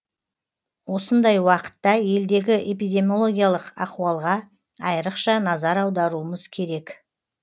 осындай уақытта елдегі эпидемиологиялық ахуалға айрықша назар аударуымыз керек